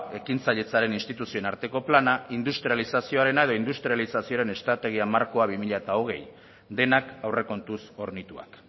ekintzailetzaren instituzioen arteko plana industrializazioaren edo industrializazioaren estrategia markoa bi mila hogei denak aurrekontuz hornituak